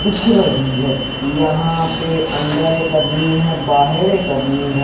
देख रही है यहां पे अंदर एक आदमी है बाहर एक आदमी है।